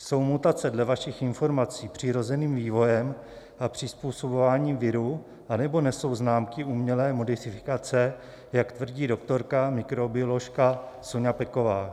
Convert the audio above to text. Jsou mutace dle vašich informací přirozeným vývojem a přizpůsobováním viru, anebo nesou známky umělé modifikace, jak tvrdí doktorka mikrobioložka Soňa Peková?